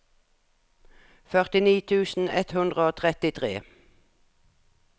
førtini tusen ett hundre og trettitre